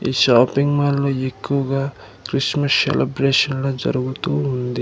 ఈ షాపింగ్ మాల్లో ఎక్కువగా క్రిస్మస్ సెలబ్రేషన్లు జరుగుతూ ఉంది.